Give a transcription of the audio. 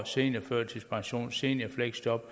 seniorførtidspension og seniorfleksjob